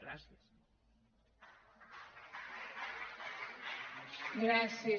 gràcies